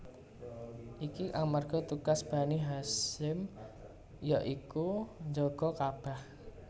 Iki amarga tugas Bani Hasyim ya iku njaga Ka bah